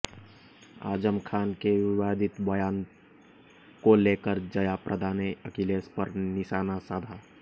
आजम खान के विवादित बयान को लेकर जया प्रदा ने अखिलेश पर निशाना साधा